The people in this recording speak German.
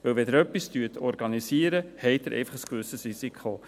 Denn wenn Sie etwas organisieren, haben Sie einfach ein gewisses Risiko.